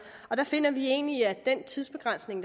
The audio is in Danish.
der finder vi egentlig at den tidsbegrænsning